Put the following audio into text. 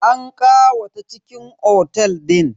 An ƙawata cikin otel din.